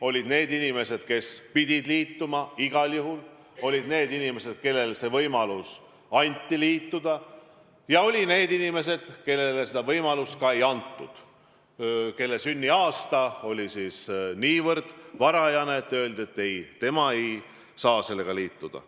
Olid inimesed, kes pidid liituma igal juhul, olid inimesed, kellele anti võimalus liituda, ja olid inimesed, kellele seda võimalust ei antud, kelle sünniaasta oli nii varajane, et neile öeldi, et nemad ei saa liituda.